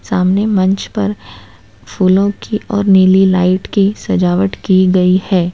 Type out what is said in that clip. सामने मंच पर फूलों की और नीली लाइट की सजावट की गई है।